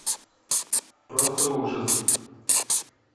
просто ужас